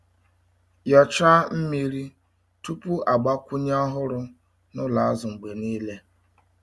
Nyochaa mmiri tupu agbakwunye ọhụrụ n’ụlọ azụ mgbe niile.